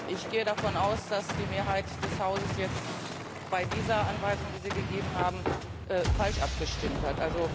Ich gehe davon aus, dass die Mehrheit des Hauses jetzt bei dieser Anweisung, die Sie gegeben haben, falsch abgestimmt hat.